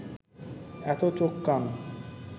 এত চোখ কান